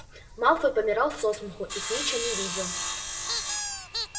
малфой помирал со смеху и снитча не видел